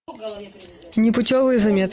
непутевые заметки